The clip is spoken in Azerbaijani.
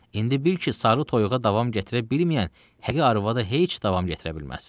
İndi bil ki, sarı toyuğa davam gətirə bilməyən, həqi arvada heç davam gətirə bilməz.